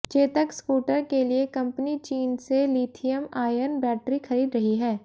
Chetak scooter के लिए company चीन से लिथियम आयन बैटरी खरीद रही है